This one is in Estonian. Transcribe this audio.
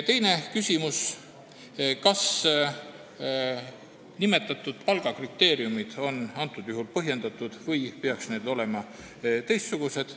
Teine küsimus, kas nimetatud palgakriteeriumid on antud juhul põhjendatud või peaksid need olema teistsugused.